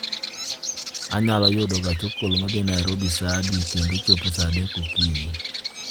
Anyalo yudo gach okolo ma dhi nairobi saa adi kendo chopo saa adek okinyi